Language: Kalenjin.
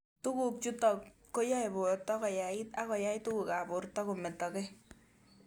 Tuguk chutok ko yae porto koyait ako yai tuguk ab porta kometokei